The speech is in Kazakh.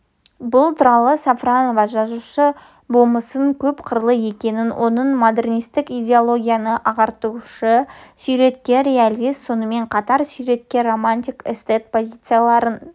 бұл туралы сафронова жазушы болмысының көп қырлы екенін оның модернистік идеологияны ағартушы суреткер-реалист сонымен қатар суреткер-романтик эстет позицияларын